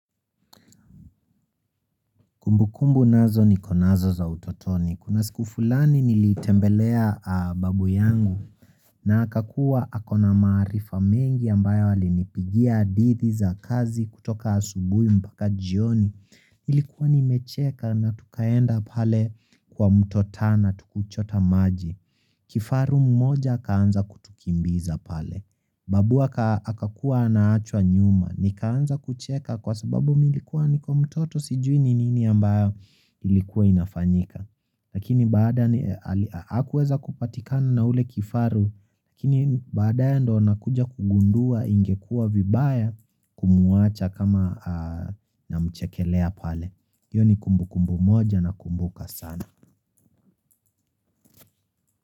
Kumbu kumbu nazo nikonazo za utotoni. Kuna siku fulani nilitembelea babu yangu na akakuwa akona maarifa mengi ambayo alinipigia hadithi za kazi kutoka asubuhi mpaka jioni. Nilikuwa nimecheka na tukaenda pale kwa mto Tana tu kuchota maji. Kifaru mmoja akaanza kutukimbiza pale. Babu akakuwa anaachwa nyuma. Nikaanza kucheka kwa sababu mi nilikuwa niko mtoto sijui ni nini ambayo ilikuwa inafanyika. Lakini baada hakuweza kupatikana na ule kifaru. Lakini baadaye ndio nakuja kugundua ingekua vibaya kumwacha kama namchekelea pale. Hiyo ni kumbu kumbu moja nakumbuka sana.